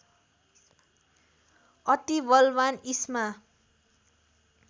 अति बलवान् इस्मा